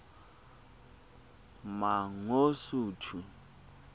mangosuthu